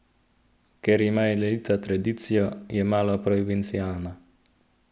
Ker ima elita tradicijo, je malo provincialna.